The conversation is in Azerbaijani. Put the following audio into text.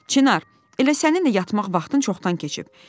Çinar, elə sənin də yatmaq vaxtın çoxdan keçib."